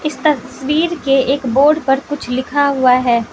तस्वीर के एक बोर्ड पर कुछ लिखा हुआ है।